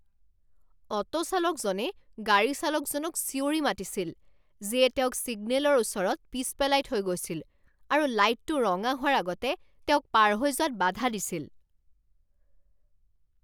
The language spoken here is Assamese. অ'টো চালকজনে গাড়ী চালকজনক চিঞৰি মাতিছিল যিয়ে তেওঁক ছিগনেলৰ ওচৰত পিছ পেলাই থৈ গৈছিল আৰু লাইটটো ৰঙা হোৱাৰ আগতে তেওঁক পাৰ হৈ যোৱাত বাধা দিছিল।